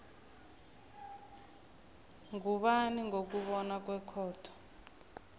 ngubani ngokubona kwekhotho